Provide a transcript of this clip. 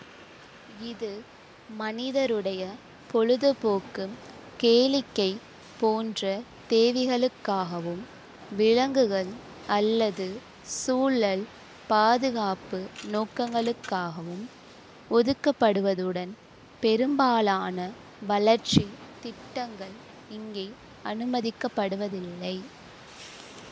இது மனிதருடைய பொழுதுபோக்கு கேளிக்கை போன்ற தேவைகளுக்காகவும் விலங்குகள் அல்லது சூழல் பாதுகாப்பு நோக்கங்களுக்காகவும் ஒதுக்கப்படுவதுடன் பெரும்பாலான வளர்ச்சி திட்டங்கள் இங்கே அனுமதிக்கப்படுவதில்லை